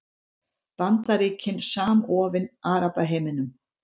Bandaríkin samofin Arabaheiminum